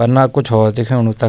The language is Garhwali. पन्ना कुछ होर दिखेणु तख।